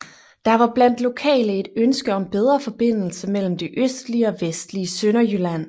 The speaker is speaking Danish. Der var blandt lokale et ønske om bedre forbindelse mellem det østlige og vestlige Sønderjylland